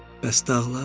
Bəs dağlar?